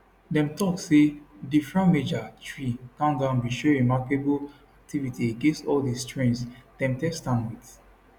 dem tok say di fromager tree gangan bin show remarkable activity against all di strains dem test am wit